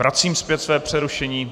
Vracím zpět své přerušení.